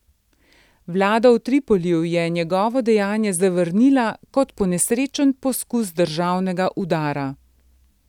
Vlada v Tripoliju je njegovo dejanje zavrnila kot ponesrečen poskus državnega udara.